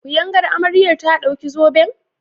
Kuyangar amarya ta dauki zoben?